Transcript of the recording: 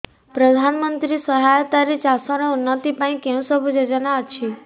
ପ୍ରଧାନମନ୍ତ୍ରୀ ସହାୟତା ରେ ଚାଷ ର ଉନ୍ନତି ପାଇଁ କେଉଁ ସବୁ ଯୋଜନା ଅଛି